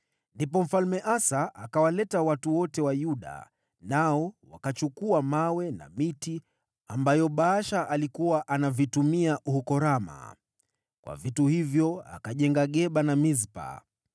Ndipo Mfalme Asa akawaleta watu wote wa Yuda, nao wakachukua mawe na miti ambayo Baasha alikuwa anavitumia huko Rama. Kwa vitu hivyo akajenga Geba na Mispa.